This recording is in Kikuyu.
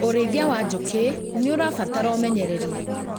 ũrĩithia wa njũkĩ nĩũrabatara ũmenyereri